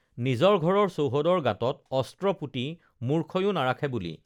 নিজৰ ঘৰৰ চৌহদৰ গাঁতত অস্ত্ৰ পুতি মুৰ্খয়ো নাৰাখে বুলি